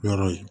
Yɔrɔ ye